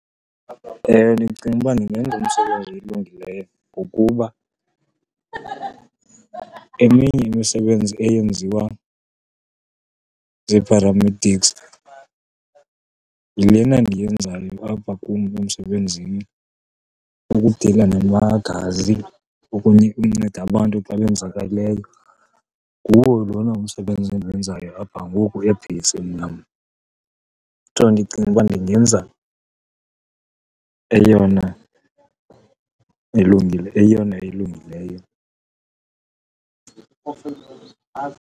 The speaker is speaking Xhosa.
Ewe, ndicinga uba ndingenza umsebenzi olungileyo, ngokuba eminye imisebenzi eyenziwa zii-paramedics yilena ndiyenzayo apha kum emsebenzini. Ukudila namagazi, ukunceda abantu xa benzekeleyo, nguwo lona umsebenzi endiwenzayo apha ngoku ebheyisini yam. Ndicinga ukuba ndingenza eyona ilungile, eyona elungileyo.